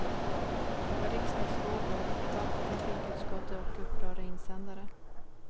Det var riksdagsfrågor, debatt i trafikutskottet och upprörda insändare.